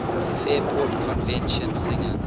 fairport convention singer